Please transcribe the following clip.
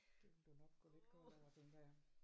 Det ville du nok gå lidt kold over tænker jeg